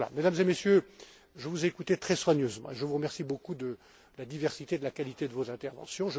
jeux. Mesdames et Messieurs, je vous ai écoutés très soigneusement et je vous remercie beaucoup de la diversité et de la qualité de vos interventions.